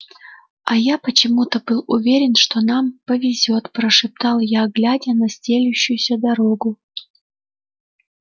а я почему-то был уверен что нам повезёт прошептал я глядя на стелющуюся дорогу